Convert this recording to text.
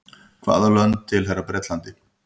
hvaða lönd tilheyra bretlandi